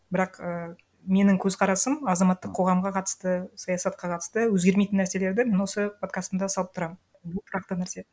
бірақ і менің қөзқарасым азаматтық қоғамға қатысты саясатқа қатысты өзгермейтін нәрселерді мен осы подкастымда салып тұрамын бұл тұрақты нәрсе